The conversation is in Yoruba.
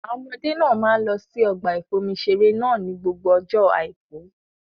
Àwọn ọmọdé náà máa ń lọ sí ọgbà ìfomi-iṣeré náà ni gbogbo ọjọ́ àìkú.